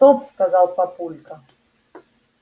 стоп сказал папулька